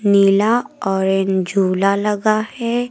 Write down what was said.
नीला orange झूला लगा है।